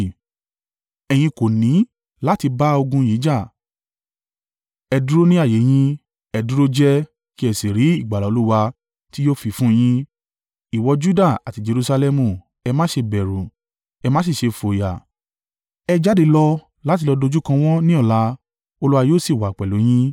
Ẹ̀yin kò ní láti bá ogun yìí jà. ẹ dúró ní ààyè yín; ẹ dúró jẹ́ẹ́ kí ẹ sì rí ìgbàlà Olúwa tí yóò fi fún yín, ìwọ Juda àti Jerusalẹmu. Ẹ má ṣe bẹ̀rù; ẹ má sì ṣe fòyà. Ẹ jáde lọ láti lọ dojúkọ wọ́n ní ọ̀la, Olúwa yóò sì wà pẹ̀lú yín.’ ”